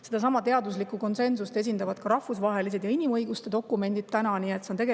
Sedasama teaduslikku konsensust esindavad täna ka rahvusvahelised ja inimõigusi dokumendid.